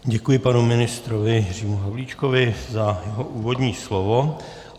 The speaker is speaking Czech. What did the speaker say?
Děkuji, panu ministrovi Jiřímu Havlíčkovi za jeho úvodní slovo.